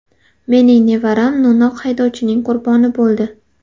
Mening nevaram no‘noq haydovchining qurboni bo‘ldi.